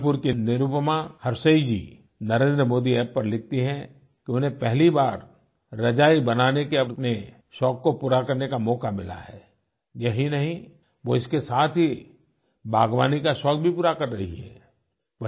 जबलपुर की निरुपमा हर्षेय जी नरेंद्रमोदी App पर लिखती है कि उन्हें पहली बार रजाई बनाने के अपने शौक को पूरा करने का मौका मिला है यही नहीं वो इसके साथ ही बागवानी का शौक भी पूरा कर रही हैं